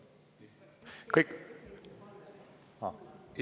Kõik?